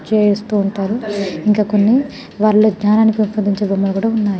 చేస్తూ ఉనత్రు ఇంకా కొన్ని వాళ్ళు బొమ్మ్క్లు కూడా ఉన్నాయి.